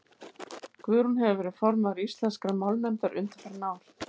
guðrún hefur verið formaður íslenskrar málnefndar undanfarin ár